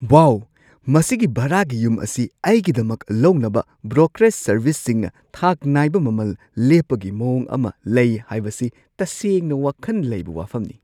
ꯋꯥꯎ, ꯃꯁꯤꯒꯤ ꯚꯥꯔꯥꯒꯤ ꯌꯨꯝ ꯑꯁꯤ ꯑꯩꯒꯤꯗꯃꯛ ꯂꯧꯅꯕ ꯕ꯭ꯔꯣꯀꯔꯦꯖ ꯁꯔꯚꯤꯁꯁꯤꯡꯅ ꯊꯥꯛ ꯅꯥꯏꯕ ꯃꯃꯜ ꯂꯦꯞꯄꯒꯤ ꯃꯑꯣꯡ ꯑꯃ ꯂꯩ ꯍꯥꯏꯕꯁꯤ ꯇꯁꯦꯡꯅ ꯋꯥꯈꯟ ꯂꯩꯕ ꯋꯥꯐꯝꯅꯤ ꯫